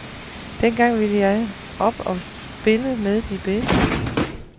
Dengang ville jeg op og spille med de bedste.